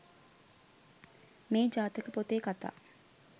මේ ජාතක පොතේ කථා